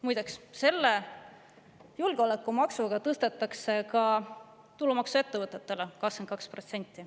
Muideks, julgeolekumaksuga tõstetakse ka ettevõtete tulumaks 22%‑ni.